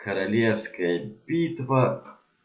королевская битва